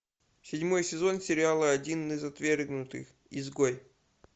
седьмой сезон сериала один из отвергнутых изгой